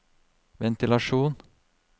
ventilasjon